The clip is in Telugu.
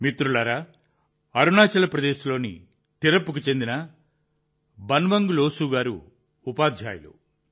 మిత్రులారా అరుణాచల్ ప్రదేశ్లోని తిరప్కు చెందిన బన్వంగ్ లోసు గారు ఉపాధ్యాయులు